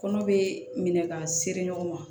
Kɔnɔ be minɛ ka seri ɲɔgɔn ma